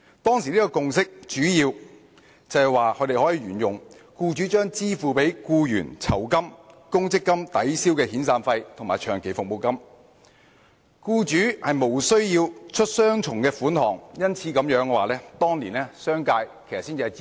當時的共識主要是沿用之前的做法，容許僱主將支付給僱員的酬金、公積金抵銷遣散費或長期服務金，使僱主無須付出雙重款項，因此商界當年才會支持。